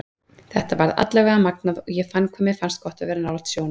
Þetta var allavega magnað og ég fann hvað mér finnst gott að vera nálægt sjónum.